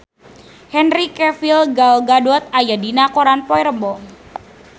Henry Cavill Gal Gadot aya dina koran poe Rebo